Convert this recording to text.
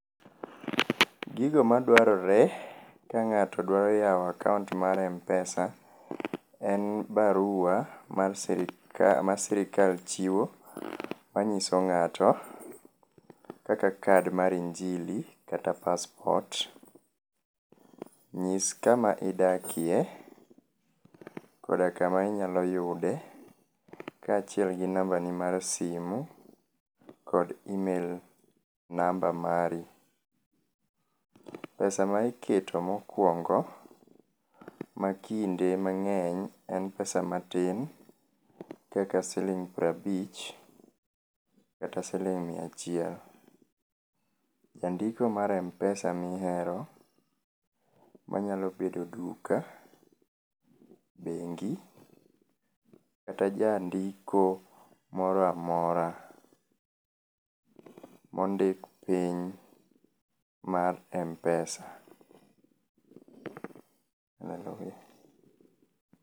Gigo madwarore ka ng'ato dwa yawo akaont mar m-pesa, en baruwa mar ma sirkal chiwo manyiso ng'ato kaka kad mar injili kata paspot. Nyis kama idakie koda kama inyalo yude kaachiel gi nambani mar simu kod email namba mari. Pesa ma iketo mokuongo makinde mang'eny en pesa matin kaka siling piero abich kata siling miya achiel. Jandiko mar m-pesa mihero manyalo bedo duka, bengi kata jandiko moro amora mondik piny mar m-pesa.